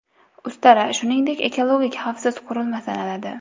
Ustara, shuningdek, ekologik xavfsiz qurilma sanaladi.